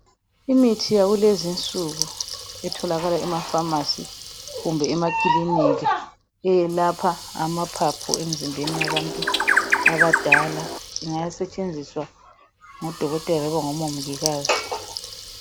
Imithi yakulezi insuku itholakala ema Pharmacy kumbe emakilinika. Eyelapha amaphaphu emzimbeni yabantu abadala. Ingasetshenziswa ngodokotela noma ngomongikazi.